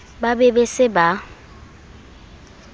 ba be ba se ba